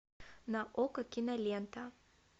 на окко кинолента